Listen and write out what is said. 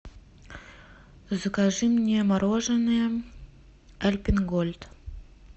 закажи мне мороженое альпен гольд